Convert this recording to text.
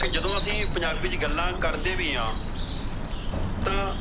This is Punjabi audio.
ਕਿ ਜਦੋ ਅਸੀਂ ਪੰਜਾਬੀ ਚ ਗੱਲਾਂ ਕਰਦੇ ਵੀ ਆ ਤਾਂ